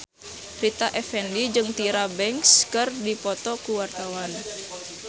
Rita Effendy jeung Tyra Banks keur dipoto ku wartawan